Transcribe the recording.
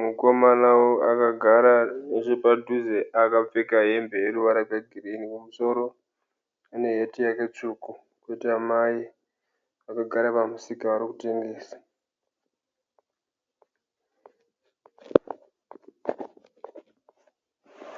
mukomana akagara nechebhadhuze akapfeka hembe yeruvara rwe girini mumusoro muneheti take tsvuku koita Mai vakagara pamusika vari kutengesa